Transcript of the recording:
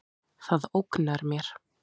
Það ógnar mér.